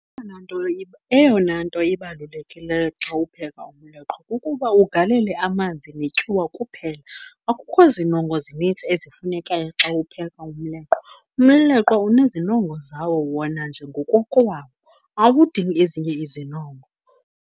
Eyona nto ibalulekileyo xa upheka umleqwa kukuba ugalele amanzi netyuwa kuphela, akukho zinongo zininzi ezifunekayo xa upheka umleqwa. Umleqwa unezinongo zawo wona nje ngokokwawo, awudingi ezinye izinongo.